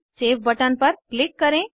save button पर click करें